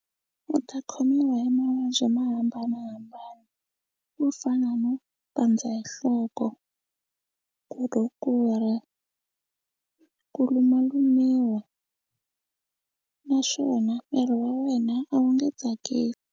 U ta khomiwa hi mavabyi mo hambanahambana ku fana no pandza hi nhloko, ku rhukura, ku lumalumiwa naswona miri wa wena a wu nge .